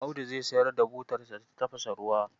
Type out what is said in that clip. Audu zai sayar da butarsa ta tafasa ruwa.